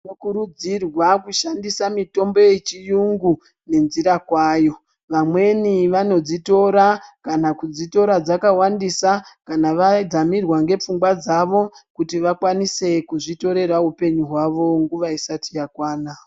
Tinokurudzirwa kushandisa mitombo yechiyungu nenjira kwayo. Vamweni vanodzitora kana kudzitora dzakawandisa kana vadzamirwa ngepfungwa dzavo kuti vakwanise kuzvitorera upenyu hwavo nguwa isati yakwana.